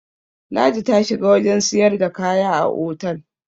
ladi ta shiga wajen siyarda kaya a otal